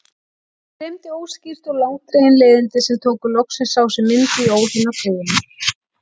Mig dreymdi óskýr og langdregin leiðindi sem tóku loksins á sig mynd í óhreina tauinu.